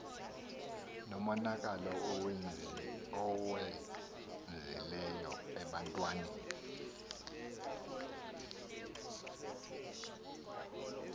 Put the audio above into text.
nomonakalo ewenzileyo ebantwini